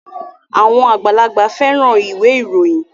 Àwọn àgbàlagbà fẹ́ran ìwé ìròyìn